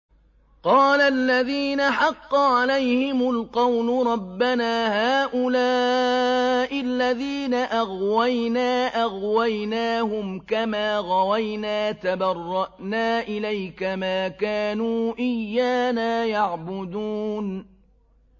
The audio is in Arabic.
قَالَ الَّذِينَ حَقَّ عَلَيْهِمُ الْقَوْلُ رَبَّنَا هَٰؤُلَاءِ الَّذِينَ أَغْوَيْنَا أَغْوَيْنَاهُمْ كَمَا غَوَيْنَا ۖ تَبَرَّأْنَا إِلَيْكَ ۖ مَا كَانُوا إِيَّانَا يَعْبُدُونَ